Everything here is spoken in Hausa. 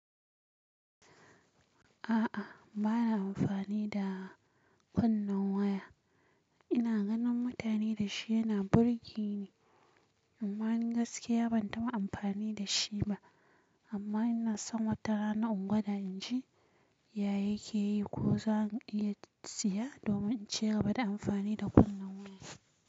A'a bana amfani da kunnin waya. Ina ganin mutane da shi yana burge ni amman gaskiya ban taɓa amfani da shi ba. Amma ina son wata rana in gwada in ji yaya yake yi ko zan iya siya domin in ci gaba da amfani da kunnen waya.